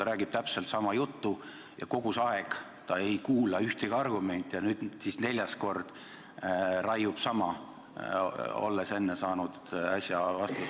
–, räägib täpselt sama juttu ja kogu see aeg ta ei kuula ühtegi argumenti ja nüüd siis neljas kord raiub sama, olles enne saanud vastuse.